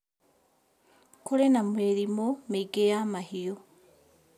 Kũrĩ na mĩrimũ mĩingĩ ya mahiũ.